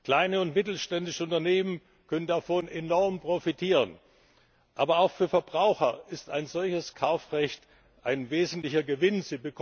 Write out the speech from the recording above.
Kleine und mittelständische Unternehmen können davon enorm profitieren, aber auch für Verbraucher ist ein solches Kaufrecht ein wesentlicher Gewinn.